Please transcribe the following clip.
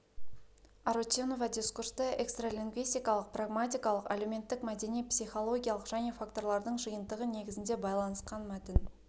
арутюнова дискурсты экстралингвистикалық прагматикалық әлеуметтік-мәдени психологиялық және факторлардың жиынтығы негізінде байланысқан мәтін